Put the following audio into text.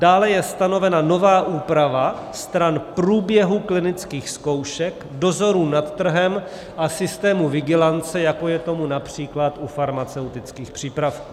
Dále je stanovena nová úprava stran průběhu klinických zkoušek, dozorů nad trhem a systému vigilance, jako je tomu například u farmaceutických přípravků.